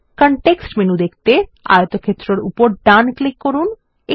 context menu দেখতে আয়তক্ষেত্র এর উপর ডান ক্লিক করুন